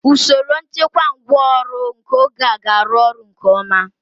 Usoro nchekwa ngwá ọrụ nke oge a ga-arụ ọrụ nke ọma.